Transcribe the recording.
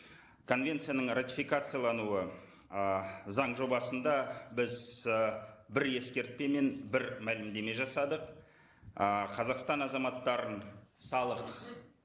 конвенцияның ратификациялануы ы заң жобасында біз і бір ескертпе мен бір мәлімдеме жасадық ы қазақстан азаматтарын салық